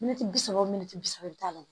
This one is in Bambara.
Mɛtiri bi saba o mɛtiri bi saba i bɛ taa ye